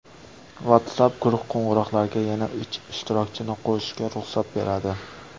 WhatsApp guruh qo‘ng‘iroqlariga yana uch ishtirokchini qo‘shishga ruxsat beradi.